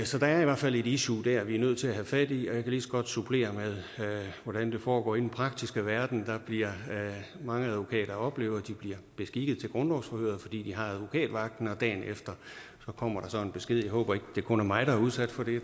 så der er i hvert fald et issue dér vi er nødt til at have fat i og jeg lige så godt supplere med hvordan det foregår i den praktiske verden mange advokater oplever at de bliver beskikket til grundlovsforhøret fordi de har advokatvagten dagen efter kommer der så en besked om jeg håber ikke det kun er mig der er udsat for det